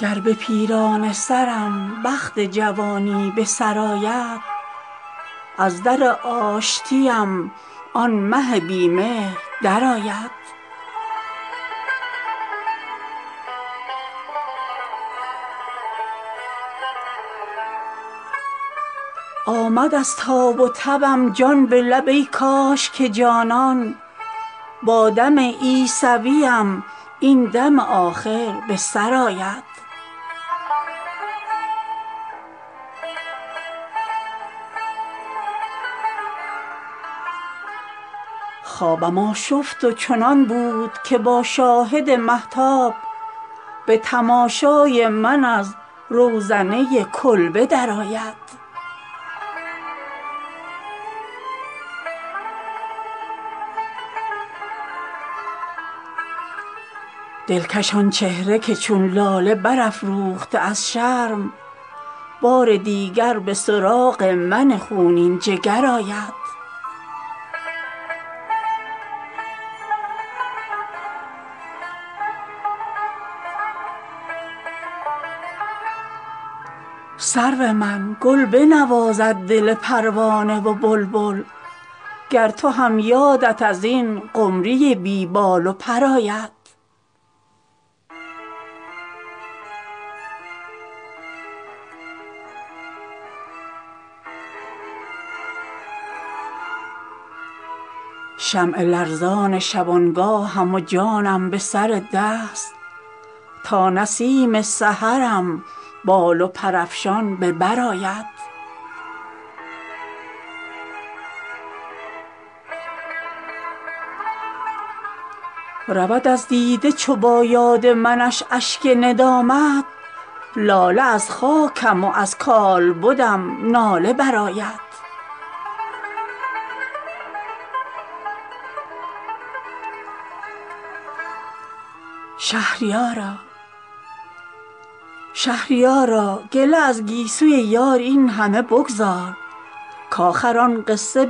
گر به پیرانه سرم بخت جوانی به سر آید از در آشتیم آن مه بی مهر درآید آمد از تاب و تبم جان به لب ای کاش که جانان با دم عیسویم این دم آخر به سر آید خوابم آشفت و چنان بود که با شاهد مهتاب به تماشای من از روزنه کلبه درآید دلکش آن چهره که چون لاله برافروخته از شرم بار دیگر به سراغ من خونین جگر آید سرو من گل بنوازد دل پروانه و بلبل گر تو هم یادت ازین قمری بی بال و پر آید شمع لرزان شبانگاهم و جانم به سر دست تا نسیم سحرم بال و پرافشان به بر آید پیر کنعان من از ناله بیاسای که یوسف پسری نیست که دیگر به سراغ پدر آید دانم آن سنگدل آخر شود از کرده پشیمان آن زمان در پی من کوی به کو دربه در آید رود از دیده چو با یاد منش اشک ندامت لاله از خاکم و از کالبدم ناله برآید دود شد شمع از آن شعله که در خرمنش افروخت چند گویی که به پایان شب غم سحر آید ماه کنعان چو به تلخی به دل چاه کند جان کاروان گو همه با بار گلاب و شکر آید شهریارا گله از گیسوی یار این همه بگذار کاخر آن قصه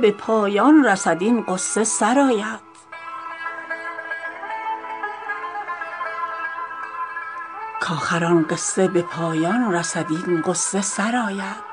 به پایان رسد این غصه سرآید